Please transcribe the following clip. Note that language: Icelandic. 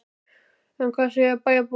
En hvað segja bæjarbúar?